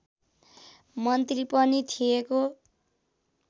मन्त्री पनि थिएको